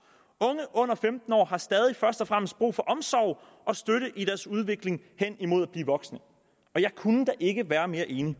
unge under femten år har stadig først og fremmest brug for omsorg og støtte i deres udvikling hen imod at blive voksne og jeg kunne da ikke være mere enig